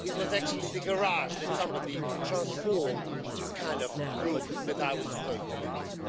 It was actually a garage that somebody had transformed into a kind of room that I was supposed to live in.